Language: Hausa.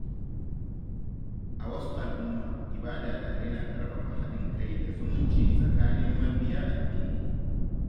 A wasu al’umma, ibada tare na ƙarfafa haɗin kai da zumunci tsakanin mabiya addini.